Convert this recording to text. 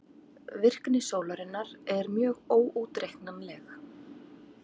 Virkni sólarinnar er mjög óútreiknanleg.